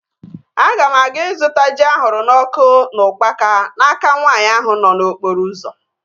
Ana m aga ịzụta ji ahụrụ n'ọkụ na ukpaka n'aka nwaanyị ahụ nọ n'okporo ụzọ